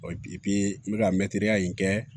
n bɛ ka mɛtiriya in kɛ